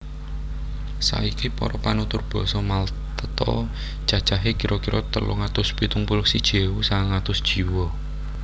Saiki para panutur basa Malta cacahé kira kira telung atus pitung puluh siji ewu sangang atus jiwa